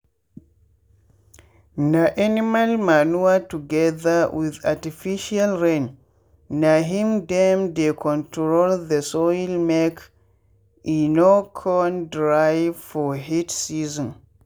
na animal manure together with artificial rain na him dem dey control the soilmake e no con dry for heat season.